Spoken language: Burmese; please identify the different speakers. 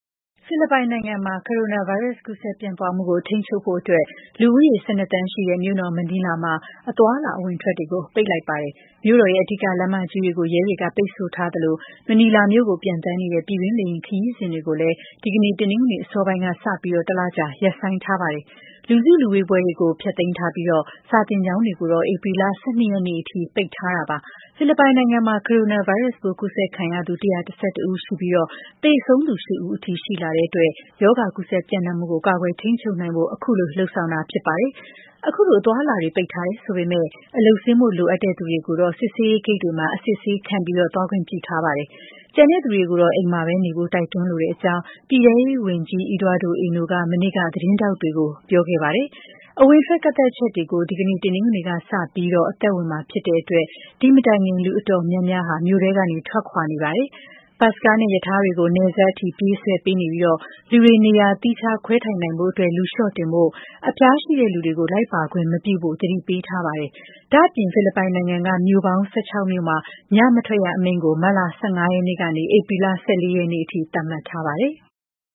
Speaker 1: ဖိလစ်ပိုင်နိုင်ငံမှာ ကိုရိုနာဗိုင်းရပ်စ် ကူးစက်ပြန့်ပွားမှုကို ထိန်းချုပ်နိုင်ဖို့အတွက် လူဦးရေ ၁၂ သန်းရှိတဲ့ မြို့တော်မနီလာမှာ အသွားအလာ အဝင်အထွက်တွေကို ပိတ်လိုက်ပါတယ်။ မြို့တော်ရဲ့ အဓိကလမ်းမကြီးတွေကို ရဲက ပိတ်ဆို့ထားသလို မနီလာမြို့ကို ပျံသန်းနေတဲ့ ပြည်တွင်းလေယာဉ်ခရီးစဉ်တွေကိုလည်း ဒီကနေ့ တနင်္ဂနွေ အစောပိုင်းကစပြီး တလကြာ ရပ်ဆိုင်းထားပါတယ်။ လူစုလူဝေးပွဲတွေကို ဖျက်သိမ်းထားပြီး စာသင်ကျောင်းတွေကိုတော့ ဧပြီလ ၁၂ ရက်နေ့ထိ ပိတ်ထားတာပါ။ ဖိလစ်ပိုင်နိုင်ငံမှာ ကိုရိုနာဗိုင်းရပ်စ်ပိုး ကူးစက်ခံရသူ ၁၁၁ ဦးရှိနေပြီး သေဆုံးသူ ၈ ဦးအထိ ရှိလာတဲ့အတွက် ရောဂါကူးစက်ပျံ့နှံ့မှုကို ကာကွယ်ထိန်းချုပ်နိုင်ဖို့ ခုလိုလုပ်ဆောင်တာ ဖြစ်ပါတယ်။ အခုလို အသွားအလာတွေ ပိတ်ထားတယ်ဆိုပေမယ့် အလုပ်ဆင်းဖို့ လိုအပ်တဲ့သူတွေကိုတော့ စစ်ဆေးရေးဂိတ်တွေမှာ အစစ်ဆေးခံပြီး သွားခွင့်ပြုထားပါတယ်။ ကျန်လူတွေကိုတော့ အိမ်မှာပဲနေကြဖို့ တိုက်တွန်းလိုကြောင်း ပြည်ထဲရေးဝန်ကြီး Eduardo Ano က မနေ့က သတင်းထောက်တွေကို ပြောကြားခဲ့ပါတယ်။ အဝင်အထွက် ကန့်သတ်ချက်တွေ ဒီကနေ့ တနင်္ဂနွေနေ့ စပြီး အသက်ဝင်မှာ ဖြစ်တဲ့အတွက် ဒီမတိုင်ခင် လူအတော်များများဟာလည်း မြို့ထဲကနေ ထွက်ခွာနေကြပါတယ်။ ဘတ်စ်ကားနဲ့ ရထားတွေကို နယ်စပ်အထိ ပြေးဆွဲပေးနေပြီး လူတွေ နေရာသီးခြားခွဲ ထိုင်နိုင်ဖို့အတွက် လူလျှော့တင်ဖို့၊ ဖျားနာနေတဲ့သူတွေကို လိုက်ပါခွင့်မပြုဖို့ သတိပေးထားပါတယ်။ ဒါ့အပြင် ဖိလစ်ပိုင်နိုင်ငံက မြို့ပေါင်း ၁၆ မြို့မှာ ညမထွက်ရအမိန့်ကို မတ်လ ၁၅ ရက်နေ့ကနေ ဧပြီလ ၁၄ ရက်နေ့ထိ သတ်မှတ်ထားပါတယ်။